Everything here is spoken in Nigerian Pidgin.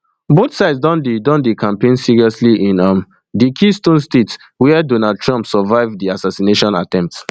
both sides don dey don dey campaign seriously in um di keystone state wia donald trump survive di assassination attempt